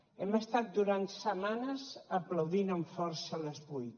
hem estat durant setmanes aplaudint amb força a les vuit